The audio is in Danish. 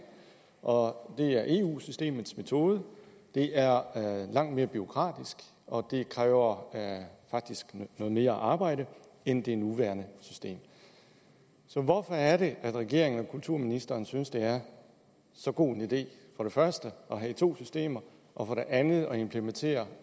og det er eu systemets metode det er langt mere bureaukratisk og det kræver faktisk noget mere arbejde end det nuværende system så hvorfor er det at regeringen og kulturministeren synes det er så god en idé for det første at have to systemer og for det andet at implementere